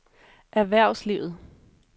erhvervslivet